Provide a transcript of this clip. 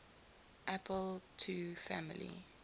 apple ii family